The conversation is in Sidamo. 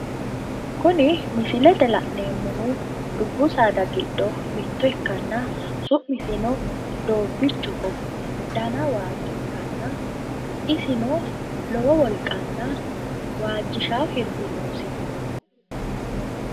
Kuni misilete la'neemmohu dubbu saada giddo mitto ikkanna su'misino doobbichoho, dana waajjo ikkanna isino lowo wolqanna waajjishawo hirbi noosi